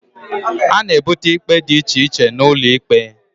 A na ebute ikpe dị iche iche n'ulo ikpe